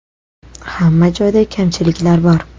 Hamma joyda kamchiliklar bor.